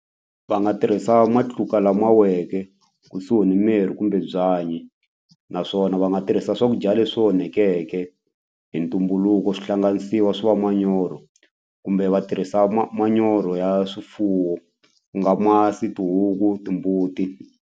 Va nga tirhisa matluka lama weke kusuhi ni mirhi kumbe byanyi naswona va nga tirhisa swakudya leswo onhekeke hi ntumbuluko swihlanganisiwa swi va manyoro kumbe va tirhisa manyoro ya swifuwo ku nga masi, tihuku, timbuti.